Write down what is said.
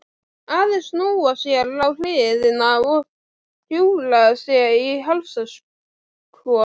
Aðeins snúa sér á hliðina og hjúfra sig í hálsakot.